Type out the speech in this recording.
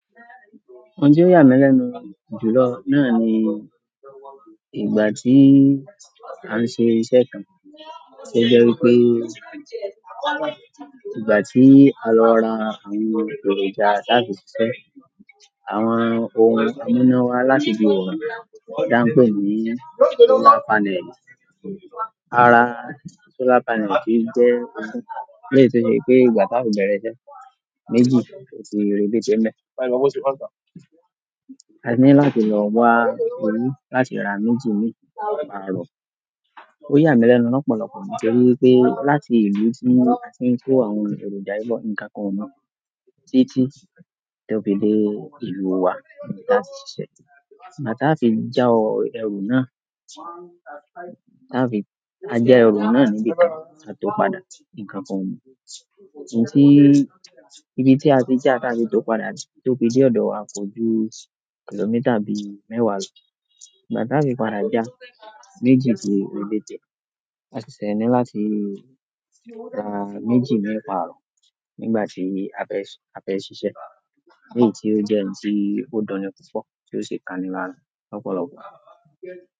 Ohun tí ó yà mí lẹ́nu jù lọ náà ni ìgbà tí à ń ṣe iṣẹ́ kan, ṣe jẹ́ wípé ìgbà tí a lọ ra àwọn èròjà táààfì ṣíṣe. Àwọn ohun ni wón mú wá láti bi òrùn. Tí à ń pé ni solar panel. Ara solar panel ti jẹ́ wípé ètò ṣe pé ìgbà tá a fi bẹ̀rẹ̀ iṣẹ́ méjì kí ó fi rebété níbẹ̀. A ní láti lọ wá owó láti ara méjì míì pààrọ̀. Ó yà mí lẹ́nu lọ́pọ̀lọpọ̀ nítorí wípé láti ìlú tí a ti ń kó àwọn èròjà yìí bọ̀ ní kákan mu títí tó fi dé ìlú wa níta ṣíṣẹ́. Àti tá a fi já ọ ẹrù náà, tá a fi a jẹ́ ẹrù náà níbi kan, a tó padà ní kákan òun. Ṣé ibi tí a ti já tá a fi tó padà tó fi dé ọ̀dọ̀ wa kò ju kìlómítà bí mẹ́wàá lọ. Ìgbà tá a fi padà já méjì kí ó rebété, a sì ṣe ní láti ra méjì méjì míì pààrọ̀ nígbà tí a fẹ́, a fẹ́ ṣiṣẹ́. Èyí tí ó jẹ́ ohun tí ó duni púpọ̀ tí ó ṣe kàni lára lọ́pọ̀lọpọ̀.